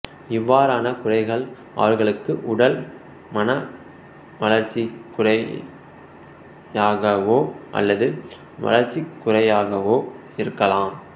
அவ்வாறான குறைகள் அவர்களுக்கு உடல் மனவளர்ச்சிக் குறையாகவோ அல்லது வளர்ச்சிக் குறையாகவோ இருக்கலாம்